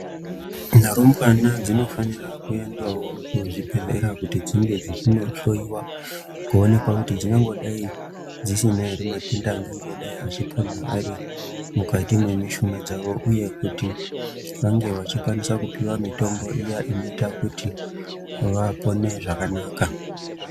Rumbwana dzinofanira kuendawo kuzvibhedhlera kuti dzinge dzichinohloyiwa kuonekwa kuti dzingangodai dzisina ere matenda angangodai achipona ari mukati mwemushuna dzawo uye kuti vange vachikwanisa kupiwa mitombo iya inoita kuti vapone zvakanaka.